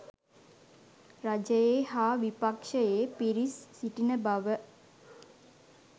රජයේ හා විපක්ෂයේ පිරිස් සිටින බව